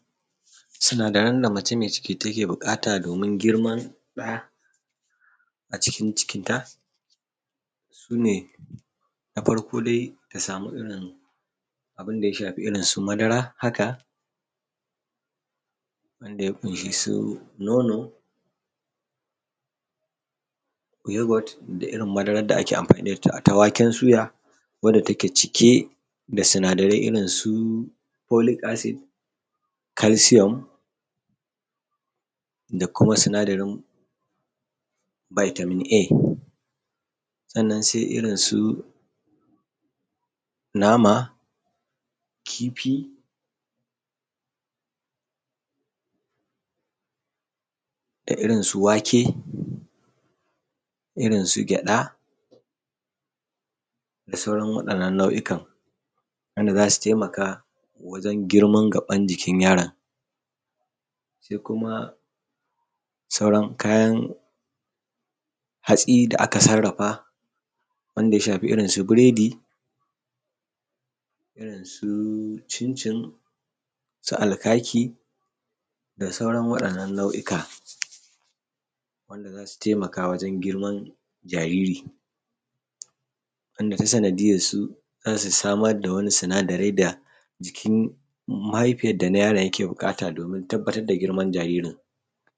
sinadaran da mace me ciki take buƙata domin girman ɗa a cikin cinikinta su ne na farƙo dai, dai ta samu irin abubuwan da ya shafi irin su madara haka wanda ya ƙunshi su nono, yogot da irin madaran da ake amfani da ita, irin ta waken suya wanda take cike da sinadarai irin su folik Asid, kalsiyom da kuma sinadarin baitamin A, sannan se irin su nama, kifi da irin su wake, irin su kyaɗa da sauran waɗannan nau'ikan wanda za su taimaka wajen girman gabbuƙan wannan yaro, se kuma sauran kayan hatsi da aka sarrafa wanda ya shafi irin su biredi, irin su cincin, su alkaki da sauran waɗannan nau'ikan wanda za su taimaka wajen girman jaririn wanda ta sanadiyarsu za su samar da su sinadarai da jikin mahaifiyan da na yaro yake buƙata domin tabbata da girman jaririn.